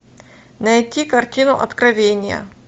найти картину откровение